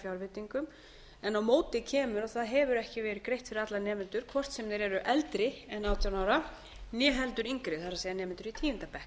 fjárveitingum en á móti kemur að það hefur ekki verið greitt fyrir alla nemendur hvort sem þeir eldri en átján ára né heldur yngri það er nemendur í tíunda bekk